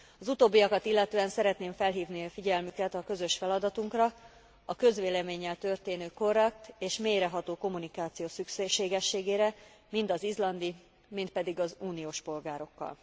Az utóbbiakat illetően szeretném felhívni a figyelmüket a közös feladatunkra, a közvéleménnyel történő korrekt és mélyreható kommunikáció szükségességére mind az izlandi, mind pedig az uniós polgárokkal.